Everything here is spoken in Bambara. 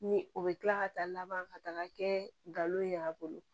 Ni o bɛ kila ka taa laban ka taga kɛ n'o ye a bolo